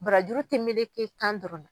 Barajuru tɛ meleke kan dɔrɔn na.